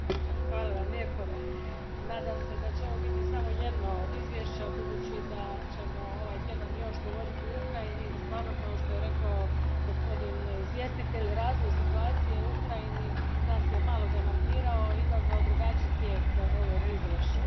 Gospodine predsjedniče, nadam se da će ovo biti samo jedno od izvješća, budući da ćemo ovaj tjedan još govoriti o Ukrajini i stvarno, kao što je rekao gospodin izvjestitelj, razvoj situacije u Ukrajini nas je malo demantirao i izazvao drugačiji tijek ovog izvješća.